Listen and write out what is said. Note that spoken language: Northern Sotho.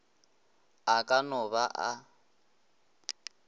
a ka no ba a